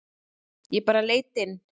Ég bara leit inn.